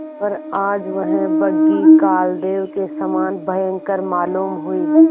पर आज वह बग्घी कालदेव के समान भयंकर मालूम हुई